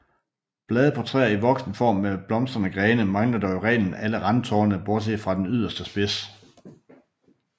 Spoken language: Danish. Blade på træer i voksen form med blomstrende grene mangler dog i reglen alle randtorne bortset fra den yderste spids